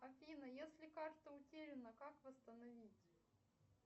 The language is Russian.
афина если карта утеряна как восстановить